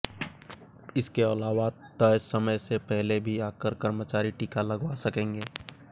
इसके अलावा तय समय से पहले भी आकर कर्मचारी टीका लगवा सकेंगे